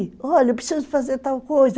Olha, eu preciso fazer tal coisa.